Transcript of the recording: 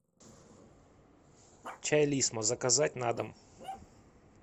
чай лисма заказать на дом